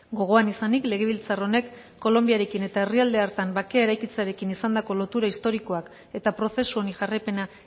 gogoan izanik legebiltzar honek kolonbiarekin eta herrialde hartan bakea eraikitzearekin izandako lotura historikoak eta prozesu honi jarraipena